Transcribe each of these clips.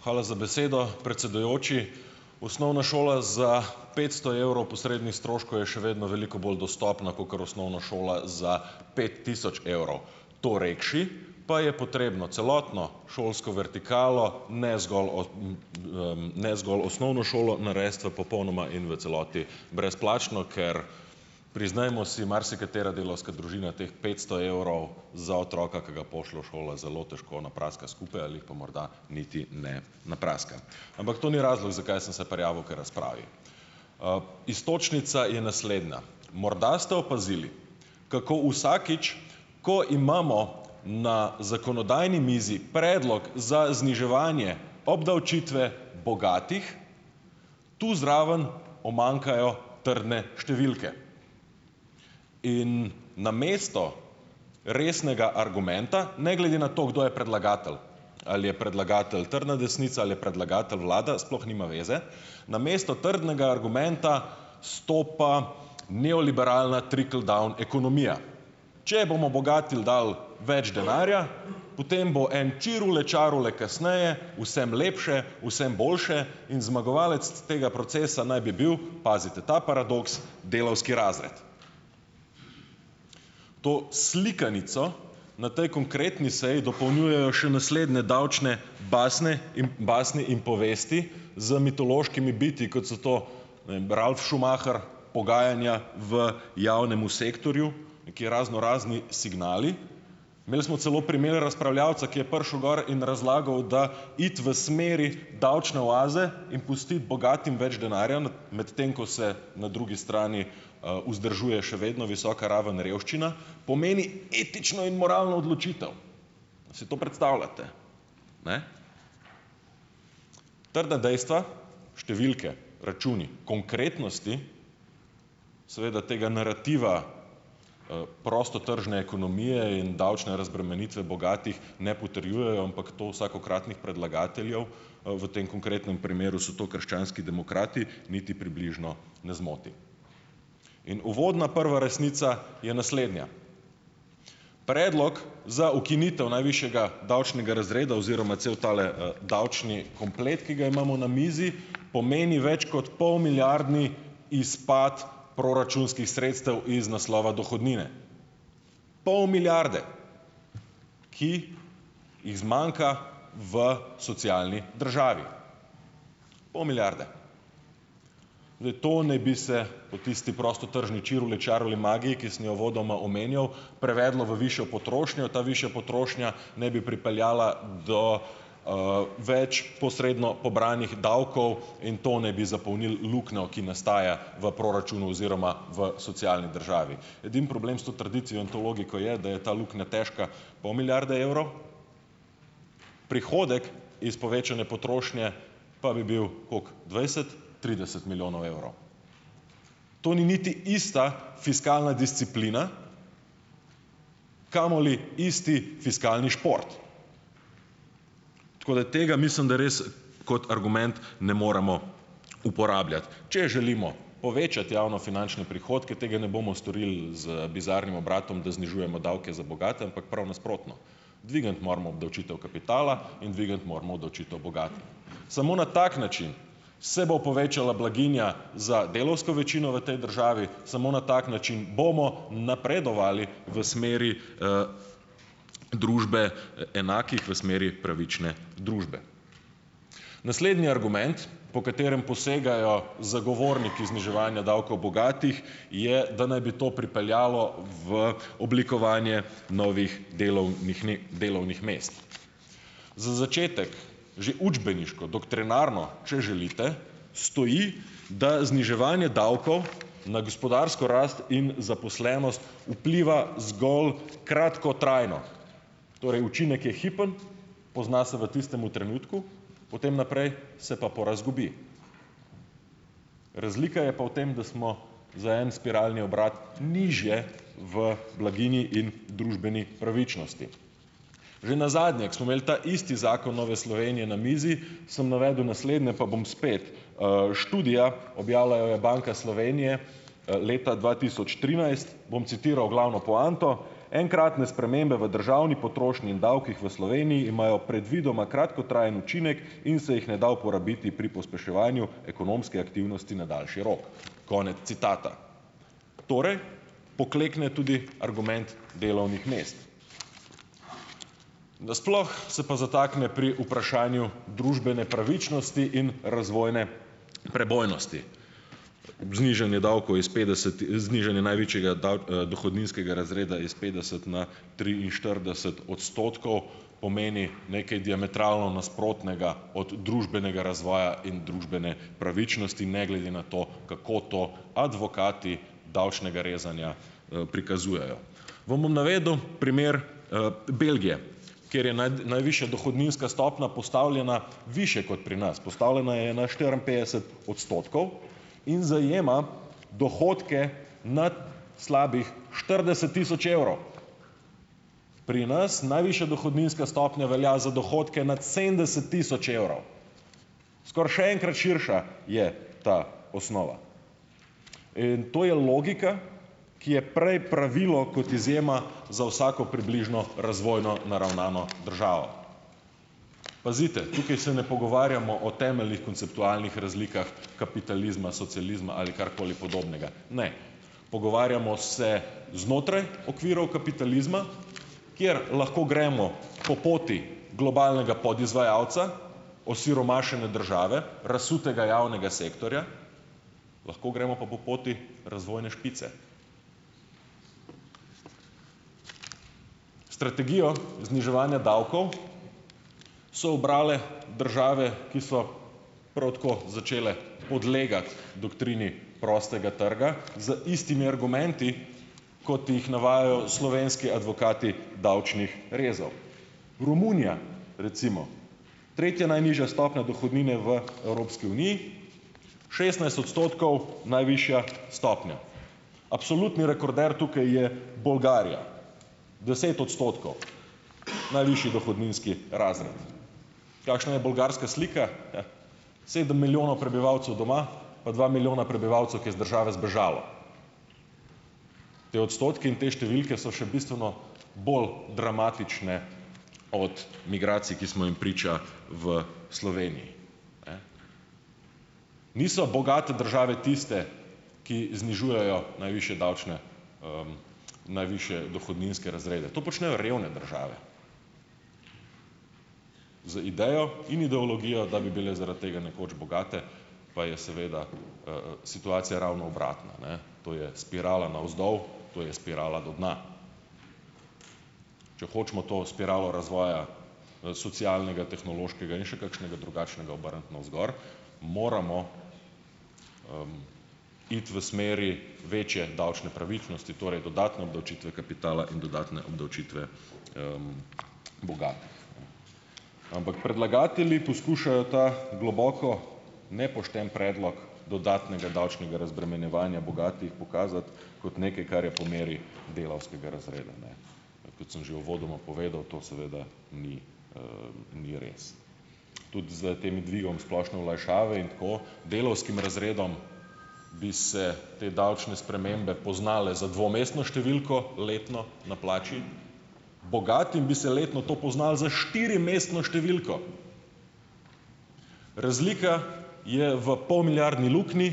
Hvala za besedo, predsedujoči. Osnovna šola za petsto evrov posrednih stroškov je še vedno veliko bolj dostopna kakor osnovna šola za pet tisoč evrov. To rekši, pa je potrebno celotno šolsko vertikalo, ne zgolj ne zgolj osnovno šolo, narediti v popolnoma in v celoti brezplačno, ker, priznajmo si, marsikatera delavska družina teh petsto evrov za otroka, ki ga pošlje v šolo, zelo težko napraska skupaj ali pa morda niti ne napraska. Ampak to ni razlog, zakaj sem se prijavil k razpravi. Iztočnica je naslednja. Morda ste opazili, kako vsakič, ko imamo na zakonodajni mizi predlog za zniževanje obdavčitve bogatih, tu zraven umanjkajo trdne številke. In namesto resnega argumenta - ne glede na to, kdo je predlagatelj, ali je predlagatelj trdna desnica, ali je predlagatelj vlada, sploh nima veze, namesto trdnega argumenta, stopa neoliberalna "trickle-down" ekonomija. Če bomo bogatim dali več denarja, potem bo en "čirule čarule" kasneje vsem lepše, vsem boljše in zmagovalec tega procesa naj bi bil - pazite ta paradoks - delavski razred. To slikanico na tej konkretni seji dopolnjujejo še naslednje davčne basne in basni in povesti z mitološkimi bitji, kot so to, ne vem, Ralf Schumacher, pogajanja v javnem sektorju, neki raznorazni signali, imeli smo celo primer razpravljavca, ki je prišel gor in razlagal, da iti v smeri davčne oaze in pustiti bogatim več denarja medtem ko se na drugi strani vzdržuje še vedno visoka raven revščina. Pomeni etično in moralno odločitev. Si to predstavljate? Trda dejstva, številke, računi. Konkretnosti, seveda tega narativa, prostotržne ekonomije in davčne razbremenitve bogatih ne potrjujejo, ampak to vsakokratnih predlagateljev, v tem konkretnem primeru so to krščanski demokrati, niti približno ne zmoti. In uvodna prva resnica je naslednja: predlog za ukinitev najvišjega davčnega razreda oziroma cel tale davčni komplet, ki ga imamo na mizi, pomeni več kot polmilijardni izpad proračunskih sredstev iz naslova dohodnine. Pol milijarde! Ki jih zmanjka v socialni državi. Pol milijarde. To naj bi se po tisti prostotržni čirule čarule magiji, ki sem jo uvodoma omenjal, prevedlo v višjo potrošnjo, ta višja potrošnja ne bi pripeljala do več posredno pobranih davkov in to naj bi zapolnilo luknjo, ki nastaja v proračunu oziroma v socialni državi. Edini problem s to trditvijo in to logiko je, da je ta luknja težka pol milijarde evrov, prihodek iz povečane potrošnje pa bi bil, koliko, dvajset, trideset milijonov evrov. To ni niti ista fiskalna disciplina, kamoli isti fiskalni šport. Tako da tega mislim, da res kot argument ne moremo uporabljati. Če želimo povečati javnofinančne prihodke, tega ne bomo storil z bizarnim obratom, da znižujemo davke za bogate, ampak prav nasprotno, dvigniti moramo obdavčitev kapitala in dvigniti moramo obdavčitev bogati. Samo na tak način se bo povečala blaginja za delavsko večino v tej državi, samo na tak način bomo napredovali v smeri družbe enakih, v smeri pravične družbe. Naslednji argument, po katerem posegajo zagovorniki zniževanja davkov bogatih, je, da naj bi to pripeljalo v oblikovanje novih delovnih mest. Za začetek že učbeniško, doktrinarno, če želite, stoji, da zniževanje davkov na gospodarsko rast in vpliva zgolj kratkotrajno. Torej učinek je hipen, pozna se v tistem trenutku, potem naprej se pa porazgubi. Razlika je pa v tem, da smo za en spiralni obrat nižje v blaginji in družbeni pravičnosti. Že nazadnje, ko smo imeli ta isti zakon Nove Slovenije na mizi, sem navedel naslednje, pa bom spet. Študija, objavila jo je Banka Slovenije, leta dva tisoč trinajst, bom citiral glavno poanto: "Enkratne spremembe v državni potrošnji in davkih v Sloveniji imajo predvidoma kratkotrajen učinek in se jih ne da uporabiti pri pospeševanju ekonomske aktivnosti na daljši rok." Konec citata. Torej, poklekne tudi argument delovnih mest. Na sploh se pa zatakne pri vprašanju družbene pravičnosti in razvojne prebojnosti ob znižanju davkov iz petdeset, znižanje največjega dohodninskega razreda iz petdeset na triinštirideset odstotkov, pomeni nekaj diametralno nasprotnega od družbenega razvoja in družbene pravičnosti ne glede na to, kako to advokati davčnega rezanja prikazujejo. Vam bom navedel primer Belgije, kjer je najvišja dohodninska stopnja postavljena višje kot pri nas, postavljena je na štiriinpetdeset odstotkov in zajema dohodke nad slabih štirideset tisoč evrov. Pri nas najvišja dohodninska stopnja velja za dohodke nad sedemdeset tisoč evrov, skoraj še enkrat širša je ta osnova. In to je logika, ki je prej pravilo kot izjema za vsako približno razvojno naravnano državo. Pazite, tukaj se ne pogovarjamo o temeljnih konceptualnih razlikah kapitalizma, socializma ali karkoli podobnega. Ne. Pogovarjamo se znotraj okvirov kapitalizma, kjer lahko gremo po poti globalnega podizvajalca, osiromašene države, razsutega javnega sektorja, lahko gremo pa po poti razvojne špice. Strategijo zniževanja davkov so ubrale države, ki so prav tako začele podlegati doktrini prostega trga z istimi argumenti, kot jih navajajo slovenski advokati davčnih rezov. Romunija recimo, tretja najnižja stopnja dohodnine v Evropski uniji, šestnajst odstotkov najvišja stopnja. Absolutni rekorder tukaj je Bolgarija, deset odstotkov - najvišji dohodninski razred. Kakšna je bolgarska slika? Sedem milijonov prebivalcev doma, pa dva milijona prebivalcev, ki je iz države zbežala. Ti odstotki in te številke so še bistveno bolj dramatične od migracij, ki smo jim priča v Sloveniji. Niso bogate države tiste, ki znižujejo najvišje davčne, najvišje dohodninske razrede. To počnejo revne države z idejo in ideologijo, da bi bile zaradi tega nekoč bogate, pa je seveda situacija ravno obratna, ne. To je spirala navzdol, to je spirala do dna. Če hočemo to spiralo razvoja socialnega, tehnološkega in še kakšnega drugačnega obrniti navzgor, moramo iti v smeri večje davčne pravičnosti, torej dodatne obdavčitve kapitala in dodatne obdavčitve Ampak predlagatelji poskušajo ta globoko nepošten predlog dodatnega davčnega razbremenjevanja bogatih pokazati kot nekaj, kar je po meri delavskega razreda. Kot sem že uvodoma povedal, to seveda ni ni res. Tudi s tem dvigom splošne olajšave in tako delavskim razredom bi se te davčne spremembe poznale za dvomestno številko letno na plači, bogatim bi se letno to poznalo za štirimestno številko. Razlika je v polmilijardni luknji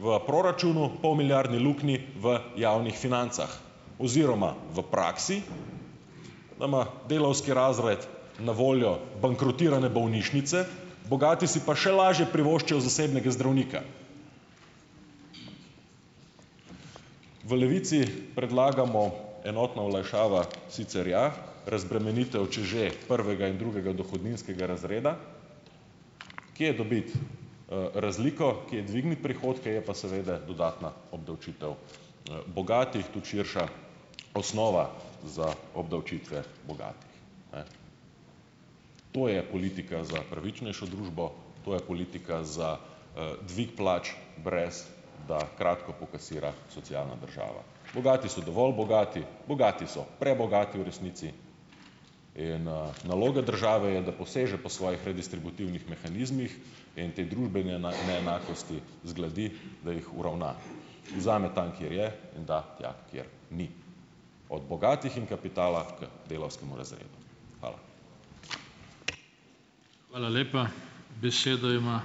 v proračunu, polmilijardni luknji v javnih financah oziroma v praksi, da ima delavski razred na voljo bankrotirane bolnišnice, bogati si pa še lažje privoščijo zasebnega zdravnika. V Levici predlagamo: enotna olajšava sicer ja, razbremenitev, če že, prvega in drugega dohodninskega razreda. Kje dobiti razliko, kje dvigniti prihodke, je pa seveda dodatna obdavčitev bogatih, tudi širša osnova za obdavčitve bogatih. To je politika za pravičnejšo družbo, to je politika za dvig plač, brez da kratko pokasira socialna država. Bogati so dovolj bogati. Bogati so prebogati v resnici. In naloga države je, da poseže po svojih redistributivnih mehanizmih in te družbene neenakosti zgladi, da jih uravna. Vzame tam, kjer je, in da tja, kjer ni. Od bogatih in kapitala k delavskemu razredu. Hvala.